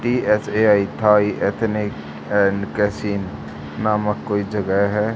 TSAI_ Thai नामक कोई जगह है।